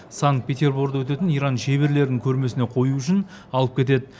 санкт петерборда өтетін иран шеберлерінің көрмесіне қою үшін алып кетеді